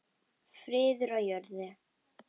Friður á jörðu.